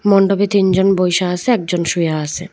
মন্ডপে তিনজন বইসা আসে একজন শুয়া আসে।